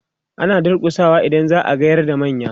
ana durkusawa idan za'a gayar da manya